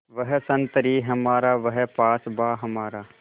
वह संतरी हमारा वह पासबाँ हमारा